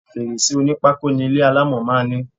Fèrèsé onípákó ni ilé alámọ̀ máa ń ní.